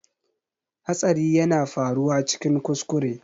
Hatsari yana faruwa cikin kuskure